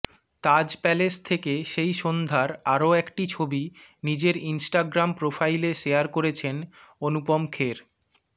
তাজ Palace থেকে সেই সন্ধ্যার আরও একটি ছবি নিজের ইন্সটাগ্রাম প্রোফাইলে শেয়ার করেছেন অনুপম খের